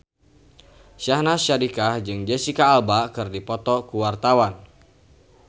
Syahnaz Sadiqah jeung Jesicca Alba keur dipoto ku wartawan